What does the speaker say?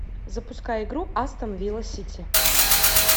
запускай игру астон вилла сити